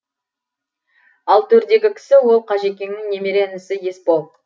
ал төрдегі кісі ол қажекеңнің немере інісі есбол